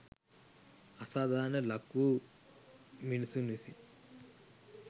අසාධාරණයට ලක්‌වූ මිනිසුන් විසින්